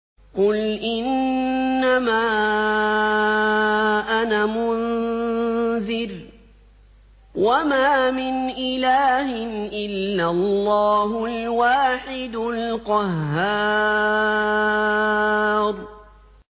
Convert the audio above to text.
قُلْ إِنَّمَا أَنَا مُنذِرٌ ۖ وَمَا مِنْ إِلَٰهٍ إِلَّا اللَّهُ الْوَاحِدُ الْقَهَّارُ